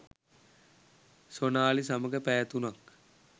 සොනාලි සමඟ පැය තුනක්